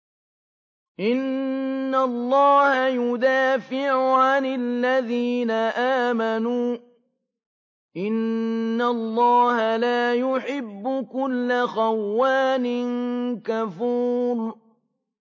۞ إِنَّ اللَّهَ يُدَافِعُ عَنِ الَّذِينَ آمَنُوا ۗ إِنَّ اللَّهَ لَا يُحِبُّ كُلَّ خَوَّانٍ كَفُورٍ